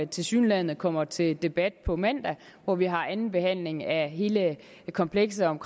tilsyneladende kommer til debat på mandag hvor vi har andenbehandlingen af hele komplekset om